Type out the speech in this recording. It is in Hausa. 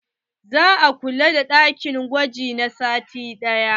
Za a kulle ɗakin gwaji na sati ɗaya.